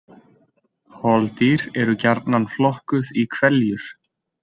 Holdýr eru gjarnan flokkuð í hveljur.